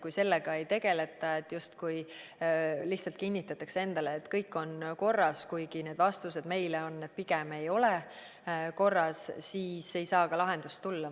Kui sellega ei tegeleta, justkui lihtsalt kinnitatakse endale, et kõik on korras, kuigi need vastused näitavad meile, et pigem ei ole korras, siis ei saa ka lahendust tulla.